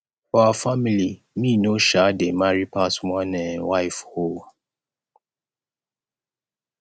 for our family me no um dey marry pass one um wife um